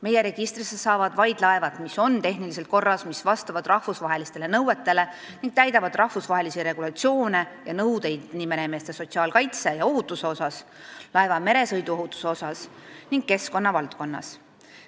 Meie registrisse saavad vaid laevad, mis on tehniliselt korras ja vastavad rahvusvahelistele nõuetele ning kus täidetakse rahvusvahelisi regulatsioone ja nõudeid, mis on ette nähtud meremeeste sotsiaalkaitse ja ohutuse ning laeva meresõiduohutuse vallas ning keskkonnavaldkonnas.